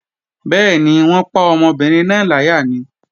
Bẹ́ẹ̀ni, wọ́n pa ọmọbìnrin náà láyà ni